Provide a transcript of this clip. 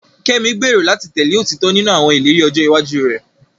Kemi gbèrò láti tẹ̀lé òtítọ́ nínú àwọn ìlérí ọjọ́ iwájú rẹ̀.